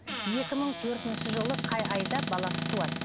екі мың төртінші жылы қай айда баласы туады